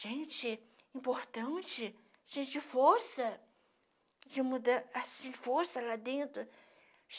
gente importante, gente de força, de mudan assim força lá dentro.